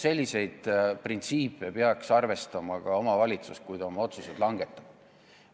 Selliseid printsiipe peaks arvestama ka omavalitsus, kui ta oma otsuseid langetab.